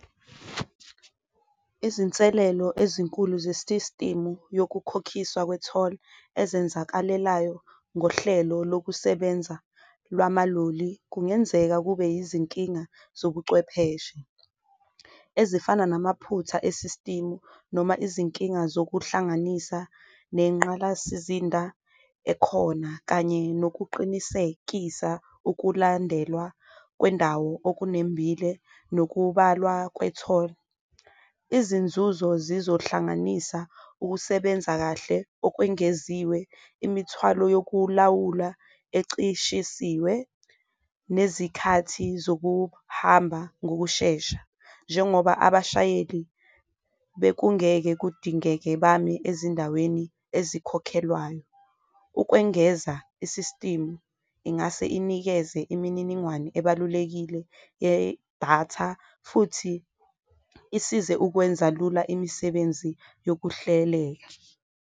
Izinselelo ezinkulu zesisitimu yokukhokhiswa kwetholi ezenzakalelayo ngohlelo lokusebenza lwamaloli kungenzeka kube yizinkinga zobucwepheshe, ezifana namaphutha esisitimu. Noma izinkinga zokuhlanganisa nenqalasizinda ekhona, kanye nokuqinisekisa ukulandelwa kwendawo okunembile nokubalwa kwetholi. Izinzuzo zizohlanganisa ukusebenza kahle okwengeziwe, imithwalo yokulawula ecishisiwe, nezikhathi zokuhamba ngokushesha njengoba abashayeli bekungeke kudingeke bame ezindaweni ezikhokhelwayo. Ukwengeza isisitimu ingase inikeze imininingwane ebalulekile yedatha futhi isize ukwenza lula imisebenzi yokuhlelela.